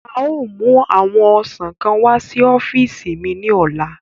A o mu awọn ọsan kan wa si ọfiisi mi ni ọla